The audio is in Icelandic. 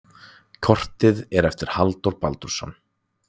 Kortið er eftir Halldór Baldursson.